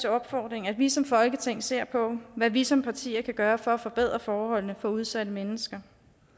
opfordring at vi som folketing ser på hvad vi som partier kan gøre for at forbedre forholdene for udsatte mennesker